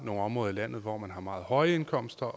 nogle områder i landet hvor man har meget høje indkomster